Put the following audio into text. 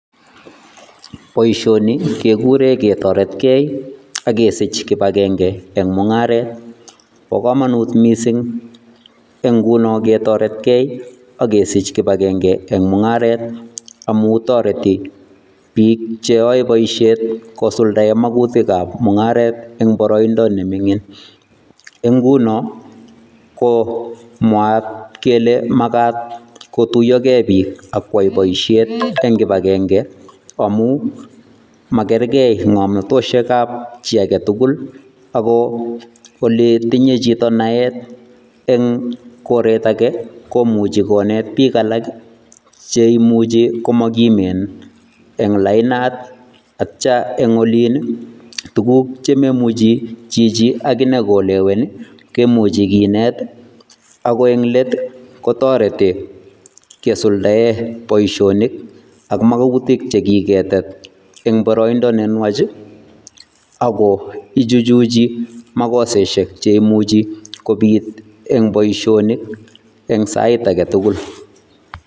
Boisioni kegure ketoretkei akesich kibakenge eng' mung'aret. Bo kamanut missing eng' nguno ketoretkei agesich kibakengei eng' ming'aret amu toreti biik cheyoe baisiet kosuldae magutikab mung'aret eng' boroindo ne ming'in. Eng' nguno ko mwaat kele magat kotuiyogei biik akwai boisiet eng' kibagenge amu makergei ng'amnutoshekab chi age tugul ako ole tinye chito naet eng' koret age komuchi konet biik alak cheimuchi komagimen eng' lainat atcha eng' olin ii tuguk chememuchi chichi agine kolewen ii kemuchi kinet ago eng' let kotoreti kesuldae boisionik ak magutik chekiketet eng' boroindo nenwach ago ichuchuchi makoseshek cheimuchi kobit eng' boisionik eng' sait age tugul.